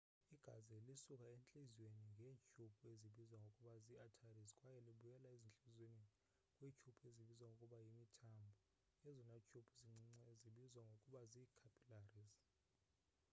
igazi lisuka entliziyweni ngeetyhubhu ezibizwa ngokuba zii arteries kwaye libuyele entliziyweni kwiityhubhu ezibizwa ngokuba yimithambo ezona tyhubhu zincinci zibizwa ngokuba zii-capillaries